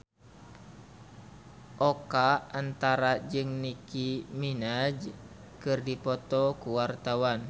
Oka Antara jeung Nicky Minaj keur dipoto ku wartawan